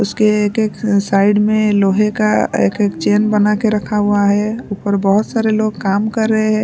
उसके एक एक अ साइड में लोहे का एक एक चैन बना के रखा हुआ है ऊपर बहुत सारे लोग काम कर रहे है।